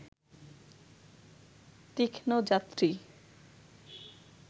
তীক্ষ্ণ যাত্রী